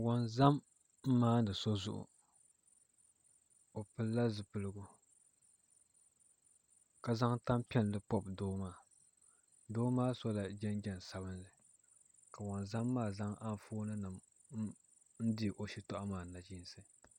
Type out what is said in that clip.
Wonzam n maandi so zuɣu o pilila zipiligu ka zaŋ tanpiɛlli pobi doo maa doo maa sola jinjɛm sabinli ka wonzam maa zaŋ Anfooni nim n dihi o shitoɣu maa nachiinsi